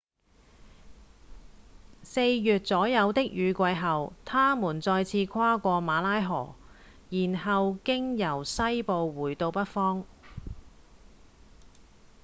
四月左右的雨季後牠們再次跨過馬拉河然後經由西部回到北方